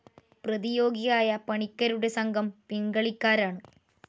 പ്രതിയോഗിയായ പണിക്കരുടെ സംഘം പിൻകളിക്കാരാണ്.